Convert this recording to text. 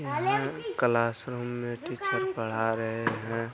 यहाँ क्लासरूम में टीचर पढ़ा रहे हैं।